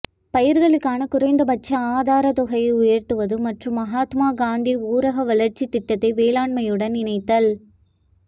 பயிர்களுக்கான குறைந்தபட்ச ஆதார தொகை உயர்த்துவது மற்றும் மகாத்மா காந்தி ஊரக வளர்ச்சி திட்டத்தை வேளாண்மையுடன் இணைத்தல்